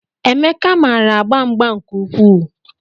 Emeka maara agba mgba nke ukwuu